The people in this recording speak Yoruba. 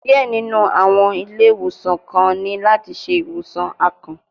Diẹ ninu awọn ile-iwosan kan ni lati ṣe iwosan akàn